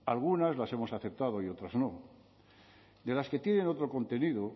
algunas las hemos aceptado y otras no de las que tienen otro contenido